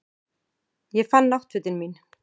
Ég fann náttfötin mín.